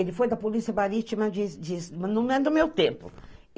Ele foi da Polícia Marítima de... Não é do meu tempo.